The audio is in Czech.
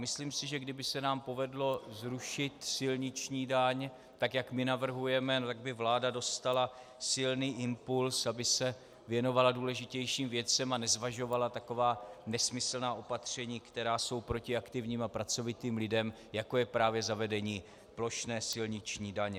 Myslím si, že kdyby se nám povedlo zrušit silniční daň tak, jak my navrhujeme, tak by vláda dostala silný impuls, aby se věnovala důležitějším věcem a nezvažovala taková nesmyslná opatření, která jsou proti aktivním a pracovitým lidem, jako je právě zavedení plošné silniční daně.